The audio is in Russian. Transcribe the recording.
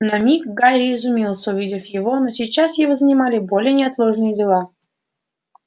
на миг гарри изумился увидев его но сейчас его занимали более неотложные дела